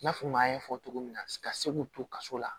I n'a fɔ maa ye fɔ cogo min na ka se k'u to kaso la